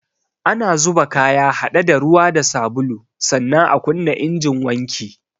Ana zuba kaya haɗe da ruwa da sabulu, sannan a kunna injin wanki